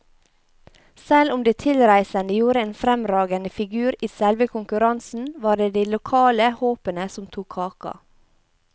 Selv om de tilreisende gjorde en fremragende figur i selve konkurransen, var det de lokale håpene som tok kaka.